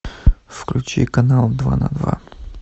включи канал два на два